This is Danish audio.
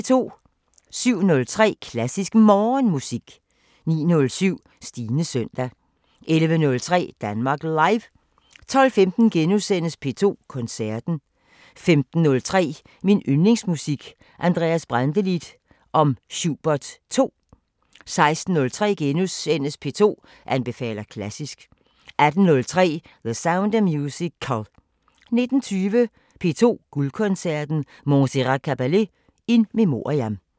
07:03: Klassisk Morgenmusik 09:07: Stines søndag 11:03: Danmark Live 12:15: P2 Koncerten * 15:03: Min yndlingsmusik: Andreas Brantelid om Schubert 2 16:03: P2 anbefaler klassisk * 18:03: The Sound of Musical 19:20: P2 Guldkoncerten: Montserrat Caballé in memoriam